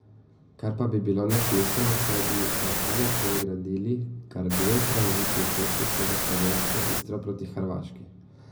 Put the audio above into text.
Kar pa bi bilo nesmiselno, saj bi na ta način gradili kar dve tranzitni cesti skozi slovensko Istro proti Hrvaški.